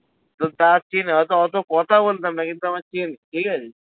হয়তো অত কথা বলতাম না কিন্তু আমায় চিনতো ঠিক আছে